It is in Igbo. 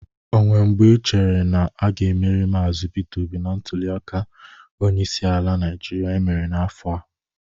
O nweere mgbe ichere na a ga-emeri Maazị Peter Obi na ntuliaka onyeisi ala Naịjịrịa emere n'afọ a?